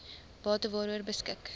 bate waaroor beskik